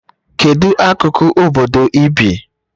Kedu akụkụ obodo ị bi?